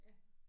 Ja